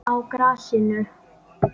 Á grasinu?